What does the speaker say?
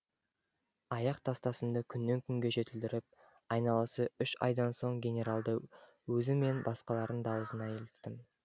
аяқ тастасымды күннен күнге жетілдіріп айналасы үш айдан соң генералдың өзі мен басқалардың да аузына іліктім